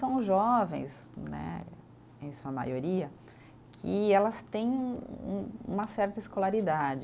São jovens né, em sua maioria, que ela têm um uma certa escolaridade.